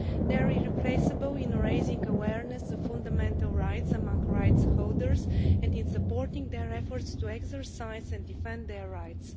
They are irreplaceable in raising awareness of fundamental rights among rights holders and in supporting their efforts to exercise and defend their rights.